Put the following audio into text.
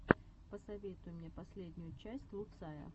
посоветуй мне последнюю часть луцая